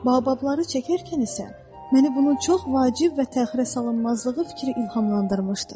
Baobabları çəkərkən isə məni bunun çox vacib və təxirəsalınmazlığı fikri ilhamlandırmışdır.